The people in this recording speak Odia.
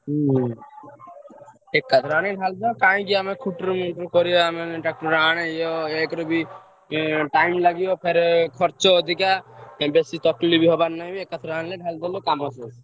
ହୁଁ ହୁଁ ଏକାଥରେ ଅନି mall ଫାଲ ।